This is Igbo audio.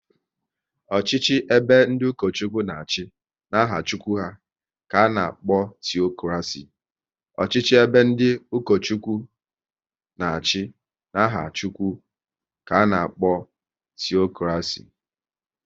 Ọchịchị ebe ndị Ukochukwu na achị n'aha Chukwu ka ana-akpọ teokraci